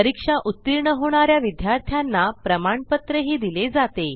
परीक्षा उत्तीर्ण होणा या विद्यार्थ्यांना प्रमाणपत्रही दिले जाते